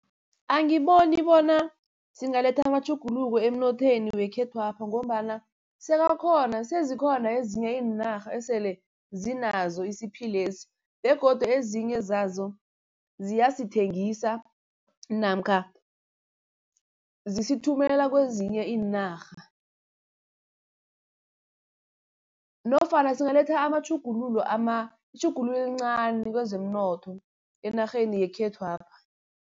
Angiboni bona singaletha amatjhuguluko emnothweni wekhethwapha, ngombana sezikhona ezinye iinarha esele zinazo isiphilesi begodu ezinye zazo ziyasithengisa namkha zisithumela kezinye iinarha. Nofana singaletha amatjhugululo itjhugululo elincani kezemnotho enarheni yekhethwapha.